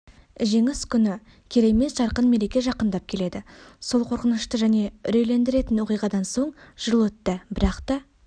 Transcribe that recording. жеңіс күні керемет жарқын мереке жақындап келеді сол қорқынышты және үрейлендіретін оқиғадан соң жыл өтті бірақта